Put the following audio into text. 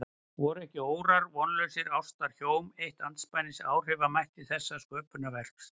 Voru ekki órar vonlausrar ástar hjóm eitt andspænis áhrifamætti þessa sköpunarverks?